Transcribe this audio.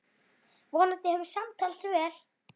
Vonandi hefur smalast vel.